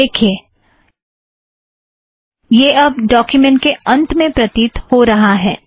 देखिए यह अब डोक्युमेंट के अंत में प्रतीत हो रहा है